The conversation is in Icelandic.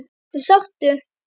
Ertu sáttur?